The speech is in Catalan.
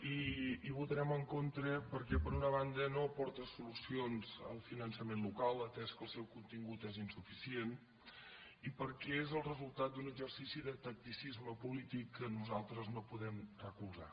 i hi votarem en contra perquè per una banda no aporta solucions al finançament local atès que el seu contingut és insuficient i perquè és el resultat d’un exercici de tacticisme polític que nosaltres no podem recolzar